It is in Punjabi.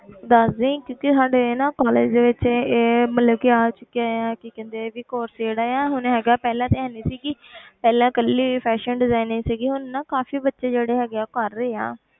ਦੱਸ ਦੇਈ ਕਿਉਂਕਿ ਸਾਡੇ ਨਾ college ਦੇ ਵਿੱਚ ਇਹ ਇਹ ਮਤਲਬ ਕਿ ਆ ਚੁੱਕਿਆ ਆ ਕੀ ਕਹਿੰਦੇ ਵੀ course ਜਿਹੜਾ ਆ ਹੁਣ ਹੈਗਾ ਪਹਿਲਾਂ ਤਾਂ ਹੈ ਨੀ ਸੀਗੀ ਪਹਿਲਾਂ ਇਕੱਲੀ fashion designing ਸੀਗੀ ਹੁਣ ਨਾ ਕਾਫ਼ੀ ਬੱਚੇ ਜਿਹੜੇ ਹੈਗੇ ਆ ਉਹ ਕਰ ਰਹੇ ਆ।